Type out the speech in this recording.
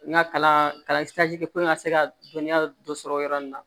N ka kalan kɛ ko n ka se ka dɔnniya dɔ sɔrɔ yɔrɔ min na